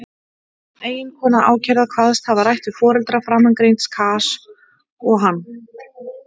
Eiginkona ákærða kvaðst hafa rætt við foreldra framangreinds Kajs og hann.